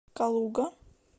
калуга